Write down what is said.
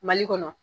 Mali kɔnɔ